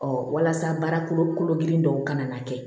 walasa baara kolo girin dɔw kana na kɛ